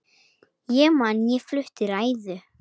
Ég man ég flutti ræðu.